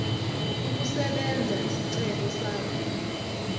ukusebenza isicelo sakho